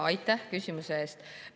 Aitäh küsimuse eest!